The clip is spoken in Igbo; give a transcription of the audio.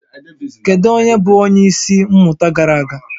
Kedu onye bụ onye isi mmụta gara aga?